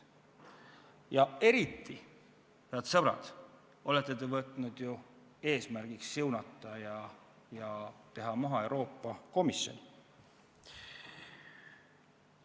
Ja eriti, head sõbrad, olete te võtnud eesmärgiks siunata ja maha teha Euroopa Komisjoni.